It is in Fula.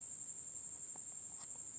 fotons ɓuri kuje ji je hauti atom famɗugo!